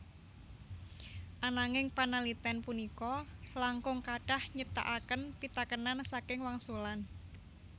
Ananging panalitén punika langkung kathah nyiptakaken pitakénan saking wangsulan